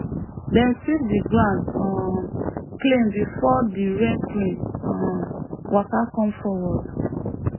dem sweep the ground um clean before the rain priest um waka come forward